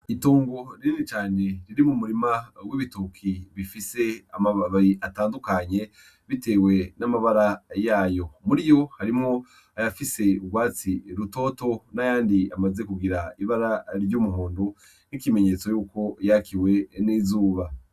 Itongo rinini cane riri mu murima w'ibitoki bifise amababi atandukanye bitewe n'amabara yayo. Muriyo harimwo ayafise ibara ry'urwatsi rutoto n'ayandi amaze kugira ibara ry'umuhondo nk'ikimenyetso yuko yakiwe n'izuba.